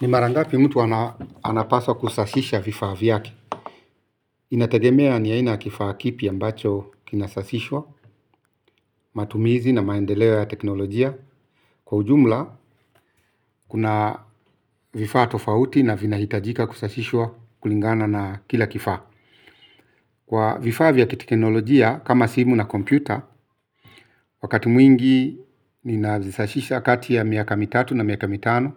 Ni marangapi mtu anapaswa kusafisha vifaa vyake. Inategemea ni aina ya kifaa kipi ambacho kinasafishwa. Matumizi na maendeleo ya teknolojia kwa ujumla kuna vifaa tofauti na vina hitajika kusashishwa kulingana na kila kifaa. Kwa vifaa kiteknolojia kama simu na kompyuta. Wakati mwingi ninazishisha kati ya miaka mitatu na miaka mitano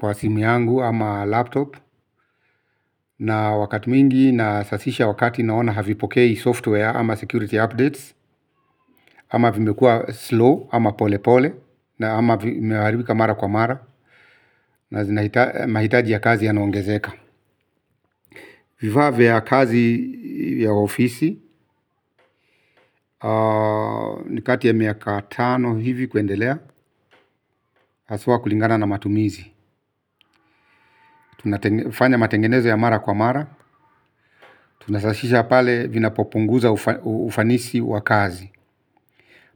kwa simu yangu ama laptop na wakati mingi nasafisha wakati naona havipokei software ama security updates. Ama vimekua slow ama pole pole. Na ama vimeharibika mara kwa mara na zinahita mahitaji ya kazi ya naongezeka. Vifaa vya kazi ya ofisi ni kati ya miaka tano hivi kuendelea haswa kulingana na matumizi. Tunafanya matengenezo ya mara kwa mara. Tunasafisha pale vina popunguza ufanisi wa kazi.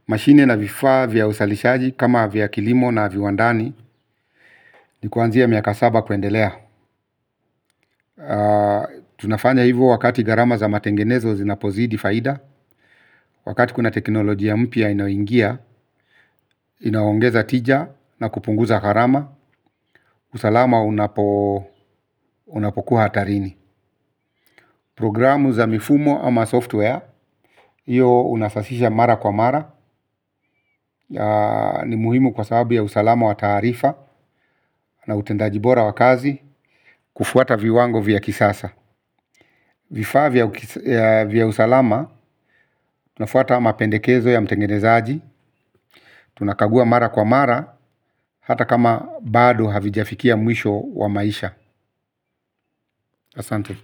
Mashine na vifaa vya uzalishaji kama vya kilimo na viwandani ni kuanzia miaka saba kuendelea. Tunafanya hivu wakati garama za matengenezo zinapozidi faida. Wakati kuna teknolojia mpia inayoingia, inaongeza tija na kupunguza gharama. Usalama unapokuwa hatarini. Programu za mifumo ama software, iyo unasasisha mara kwa mara. Ni muhimu kwa sababu ya usalama wataharifa na utendajibora wakazi kufuata viwango vya kisasa vifaa vya usalama tunafuata ama pendekezo ya mtengenezaji, tunakagua mara kwa mara, hata kama bado havijafikia mwisho wa maisha. Asante.